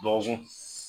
Dɔgɔkun